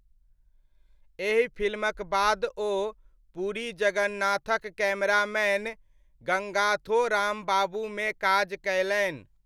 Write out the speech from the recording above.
एहि फ़िल्मक बाद ओ पुरी जगन्नाधक कैमरामैन गङ्गाथो रामबाबूमे काज कयलनि।